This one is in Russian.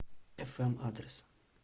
эфэм адрес